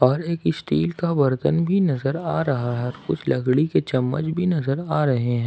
और एक स्टील का बर्तन भी नजर आ रहा है कुछ लकड़ी के चम्मच भी नजर आ रहे हैं।